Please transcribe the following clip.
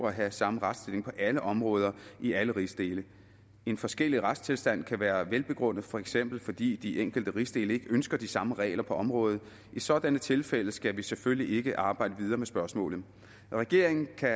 at have samme retsstilling på alle områder i alle rigsdele en forskellig retstilstand kan være velbegrundet for eksempel fordi de enkelte rigsdele ikke ønsker de samme regler på området i sådanne tilfælde skal vi selvfølgelig ikke arbejde videre med spørgsmålet regeringen kan